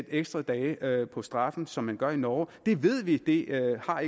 ekstra dage på straffen som man gør i norge det ved vi ikke har